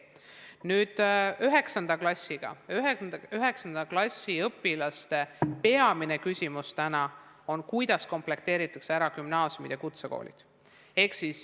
Nüüd, 9. klassi õpilaste peamine küsimus täna on, kuidas komplekteeritakse gümnaasiumid ja kutsekoolid.